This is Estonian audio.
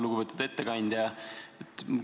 Lugupeetud ettekandja!